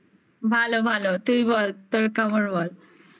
কেমন? ভালো ভালো। তুই বল তোর কেমন বল?